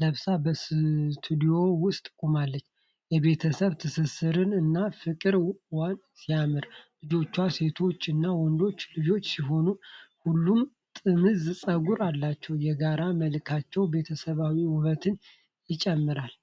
ለብሳ በስቱዲዮ ውስጥ ቆማለች። የቤተሰቡ ትስስር እና ፍቅር 'ዋው ሲያምር' ። ልጆቿ ሴቶች እና ወንድ ልጅ ሲሆኑ፣ ሁሉም ጥምዝ ፀጉር አላቸው። የጋራ መልካቸው ቤተሰባዊ ውበትን ይጨምራል!!።